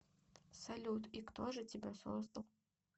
салют и кто же тебя создал